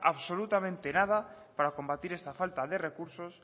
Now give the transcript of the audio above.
absolutamente nada para combatir esta falta de recursos